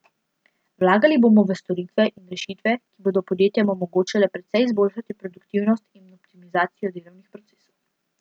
Vlagali bomo v storitve in rešitve, ki bodo podjetjem omogočale precej izboljšati produktivnost in optimizacijo delovnih procesov.